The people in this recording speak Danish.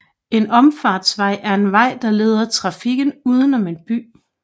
En omfartsvej er en vej der leder trafikken udenom en by